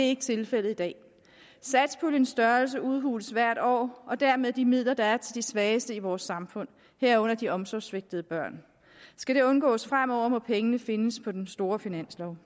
ikke tilfældet i dag satspuljens størrelse udhules hvert år og dermed udhules de midler der er til de svageste i vores samfund herunder de omsorgssvigtede børn skal det undgås fremover må pengene findes på den store finanslov